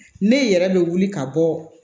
Ne yɛrɛ bɛ wuli ka bɔ